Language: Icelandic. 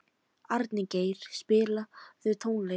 Arngeir, spilaðu tónlist.